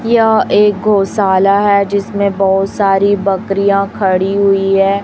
यह एक गौशाला है जिसमें बहुत सारी बकरियां खड़ी हुई है।